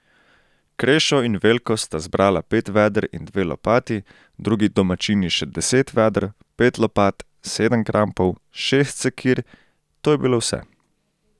Krešo in Veljko sta zbrala pet veder in dve lopati, drugi domačini še deset veder, pet lopat, sedem krampov, šest sekir, to je bilo vse.